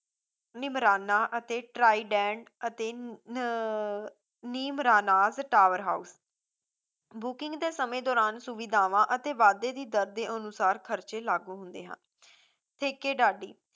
ਨਿਮਰਾਨਾ ਅਤੇ ਟਰਾਈਡੈਂਟ ਅਤੇ ਨੀ ਅਹ ਨਿਮਰਾਨਾਸ tower house booking ਦੇ ਸਮੇਂ ਦੌਰਾਨ ਸੁਵਿਧਾਵਾਂ ਅਤੇ ਵਾਧੇ ਦੀ ਦਰ ਦੇ ਅਨੁਸਾਰ ਖਰਚੇ ਲਾਗੂ ਹੁੰਦੇ ਹਨ ਸੇਕੇਡਾਡੀ